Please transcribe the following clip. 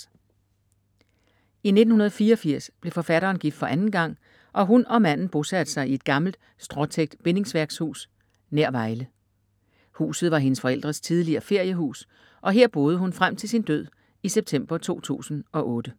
I 1984 blev forfatteren gift for anden gang, og hun og manden bosatte sig i et gammelt stråtækt bindingsværkshus nær Vejle. Huset var hendes forældres tidligere feriehus og her boede hun frem til sin død i september 2008.